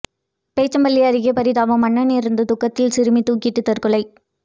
போச்சம்பள்ளி அருகே பரிதாபம் அண்ணன் இறந்த துக்கத்தில் சிறுமி தூக்கிட்டு தற்கொலை